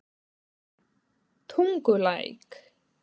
Tungulæk